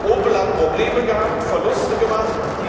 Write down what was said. Opel hat Probleme gehabt, Verluste gemacht.